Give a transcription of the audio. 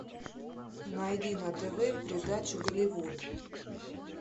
найди на тв передачу голливуд